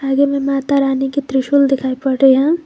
आगे में माता रानी के त्रिशूल दिखाई पड़ रहे हैं।